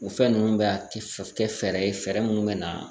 O fɛn ninnu bɛ a kɛ fɛɛrɛ ye fɛɛrɛ minnu bɛ na